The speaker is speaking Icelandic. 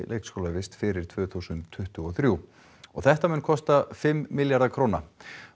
leikskólavist fyrir tvö þúsund tuttugu og þrjú þetta mun kosta fimm milljarða króna